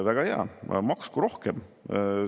Väga hea, maksku rohkem!